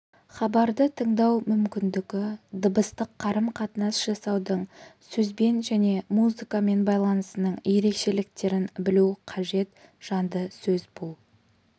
хабарды тыңдау мүмкіндігі дыбыстық қарым-қатынас жасаудың сөзбен және музыкамен байланысының ерекшеліктерін білу қажет жанды сөз бұл